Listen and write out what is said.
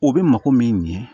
O bɛ mako min ɲɛ